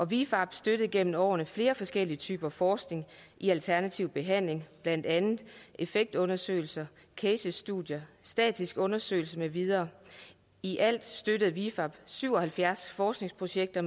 vifab støttede gennem årene flere forskellige typer forskning i alternativ behandling blandt andet effektundersøgelser casestudier statistiske undersøgelser med videre i alt støttede vifab syv og halvfjerds forskningsprojekter